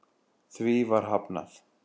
Því var hafnað